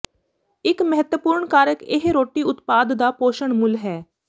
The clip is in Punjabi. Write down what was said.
ਇੱਕ ਮਹੱਤਵਪੂਰਣ ਕਾਰਕ ਇਹ ਰੋਟੀ ਉਤਪਾਦ ਦਾ ਪੋਸ਼ਣ ਮੁੱਲ ਹੈ